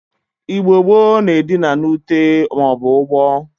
Igbo gbo na Edina na Ute ma obu ugbo.